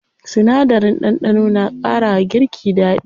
Sinadarin ɗanɗano na ƙara wa girki daɗi.